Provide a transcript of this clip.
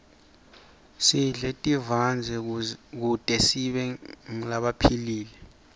sidle tivandze kute sibe ngulabaphilile